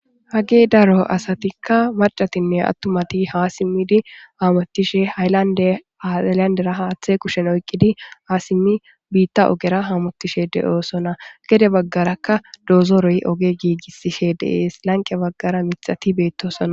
Ha kehi daro asati qasseka maccatan atumati ha simidi hamutishe hayilandin haththata kushen oyqidi ha simidi biththa oggera hamutishe de'osona gede baggaraka dozore oge gigisishe de'es laniqe baggara miththati betossona.